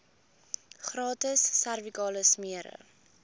gratis servikale smere